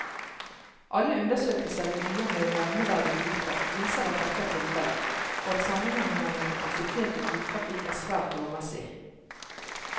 Alle undersøkelser i byer med en nevneverdig bilpark viser at dette er tilfellet, og at sammenhengen mellom kapasitet og biltrafikk er svært lovmessig.